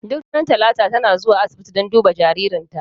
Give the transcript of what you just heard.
Duk ranar talata ta na zuwa asibiti dan a duba jaririnta.